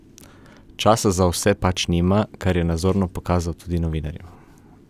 Časa za vse pač nima, kar je nazorno pokazal tudi novinarjem.